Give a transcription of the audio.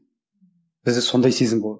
бізде сондай сезім болған